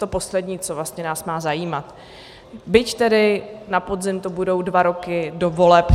To poslední, co vlastně nás má zajímat, byť tedy na podzim to budou dva roky do voleb.